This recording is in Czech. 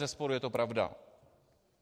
Bezesporu je to pravda.